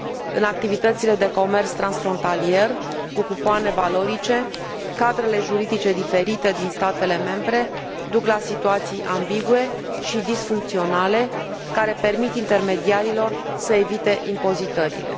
În activitățile de comerț transfrontalier cu cupoane valorice, cadrele juridice diferite din statele membre duc la situații ambigue și disfuncționale, care permit intermediarilor să evite impozitările.